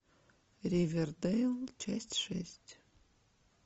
ривердейл часть шесть